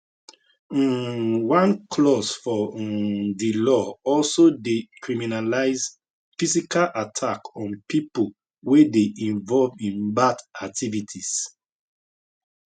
um one clause for um di law also dey criminalize physical attack on pipo wey dey involve in lgbt activities